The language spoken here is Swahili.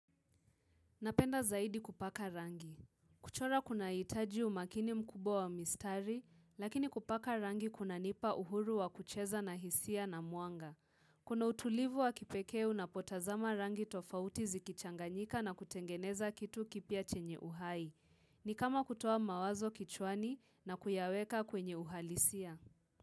Napenda zaidi kupaka rangi. Kuchora kunahitaji umakini mkubwa wa mistari, lakini kupaka rangi kuna nipa uhuru wa kucheza na hisia na muanga. Kuna utulivu wa kipekee unapotazama rangi tofauti zikichanganyika na kutengeneza kitu kipya chenye uhai. Ni kama kutoa mawazo kichwani na kuyaweka kwenye uhalisia.